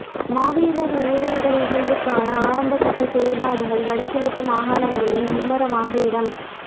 மாவீரர் நினைவேந்தல் நிகழ்வுக்கான ஆரம்ப கட்ட செயற்பாடுகள் வடக்கு கிழக்கு மாகாணங்களில் மும்முரமாக இடம்